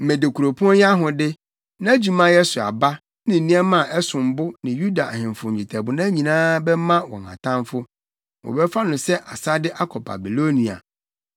Mede kuropɔn yi ahode, nʼadwumayɛ so aba, ne nneɛma a ɛsom bo ne Yuda ahemfo nnwetɛbona nyinaa bɛma wɔn atamfo. Wɔbɛfa no sɛ asade akɔ Babilonia.